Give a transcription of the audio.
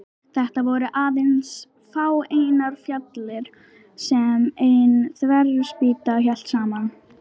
Þetta voru aðeins fáeinar fjalir sem ein þverspýta hélt saman.